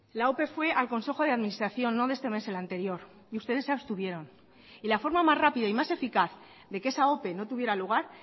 la ope fue al consejo de administración no de este mes el anterior y ustedes se abstuvieron y la forma más rápida y más eficaz de que esa ope no tuviera lugar